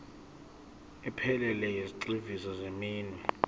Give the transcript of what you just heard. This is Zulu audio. ephelele yezigxivizo zeminwe